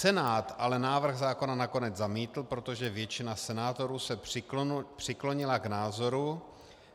Senát ale návrh zákona nakonec zamítl, protože většina senátorů se přiklonila k názoru,